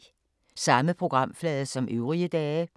Samme programflade som øvrige dage